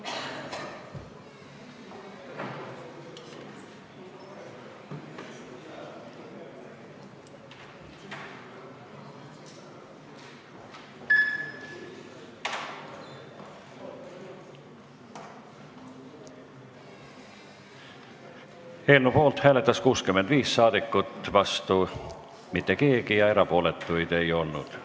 Hääletustulemused Eelnõu poolt hääletas 65 rahvasaadikut, vastu mitte keegi, erapooletuid ei olnud.